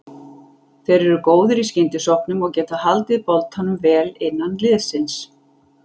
Þeir eru góðir í skyndisóknum og getað haldið boltanum vel innan liðsins.